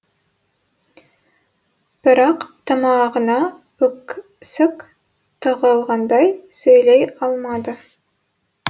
бірақ тамағына өксік тығылғандай сөйлей алмады